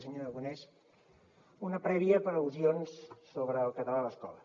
senyor aragonès una prèvia per al·lusions sobre el català a l’escola